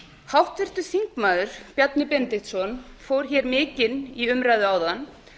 háttvirtur þingmaður bjarni benediktsson fór mikinn í umræðu áðan